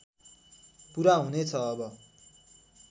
पुरा हुनेछ अब